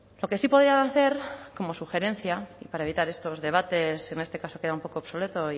lo que sí podían hacer como sugerencia y para evitar estos debates en este caso queda un poco obsoleto